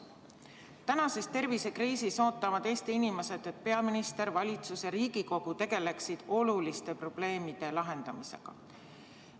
Tänases tervisekriisis ootavad Eesti inimesed, et peaminister, valitsus ja Riigikogu tegeleksid oluliste probleemide lahendamisega.